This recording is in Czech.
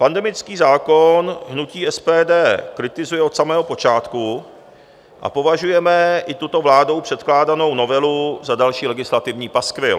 Pandemický zákon hnutí SPD kritizuje od samého počátku a považujeme i tuto vládou předkládanou novelu za další legislativní paskvil.